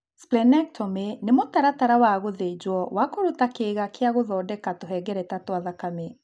Splenectomy nĩ mũtaratara wa gũthĩnjwo wa kũruta kĩĩga kĩa gũthondeka tũhengereta twa thakame.